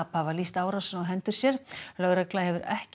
hafa lýst árásinni á hendur sér en lögregla hefur ekki